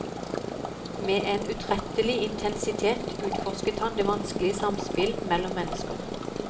Med en utrettelig intensitet utforsket han det vanskelige samspill mellom mennesker.